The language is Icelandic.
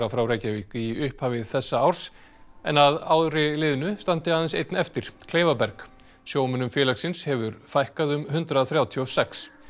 frá Reykjavík í upphafi þessa árs en að ári liðnu standi aðeins einn eftir Kleifaberg sjómönnum félagsins hefur fækkað um hundrað þrjátíu og sex